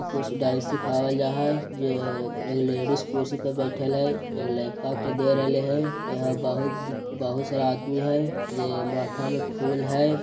कुछ डांस सिखवाल जाय है जे एक लेडिस कुर्सी पे बइठल है एगो लइका के दे रहले है यहाँ बहुत बहुत सारा आदमी है जे माथा में फूल हई।